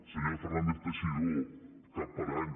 senyor fernández teixidó cap parany